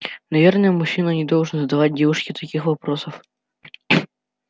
наверное мужчина не должен задавать девушке таких вопросов